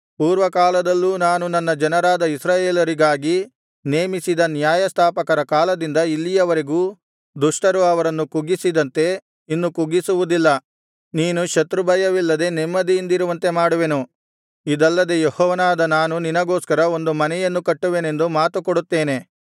ಪೂರ್ವಕಾಲದಲ್ಲೂ ನಾನು ನನ್ನ ಜನರಾದ ಇಸ್ರಾಯೇಲರಿಗಾಗಿ ನೇಮಿಸಿದ ನ್ಯಾಯಸ್ಥಾಪಕರ ಕಾಲದಿಂದ ಇಲ್ಲಿಯವರೆಗೂ ದುಷ್ಟರು ಅವರನ್ನು ಕುಗ್ಗಿಸಿದಂತೆ ಇನ್ನು ಕುಗ್ಗಿಸುವುದಿಲ್ಲ ನೀನು ಶತ್ರುಭಯವಿಲ್ಲದೆ ನೆಮ್ಮದಿಯಿಂದಿರುವಂತೆ ಮಾಡುವೆನು ಇದಲ್ಲದೆ ಯೆಹೋವನಾದ ನಾನು ನಿನಗೋಸ್ಕರ ಒಂದು ಮನೆಯನ್ನು ಕಟ್ಟುವೆನೆಂದು ಮಾತು ಕೊಡುತ್ತೇನೆ